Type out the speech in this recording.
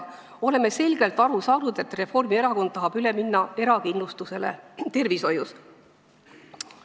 Oleme selgelt aru saanud, et Reformierakond tahab üle minna erakindlustusele tervishoius.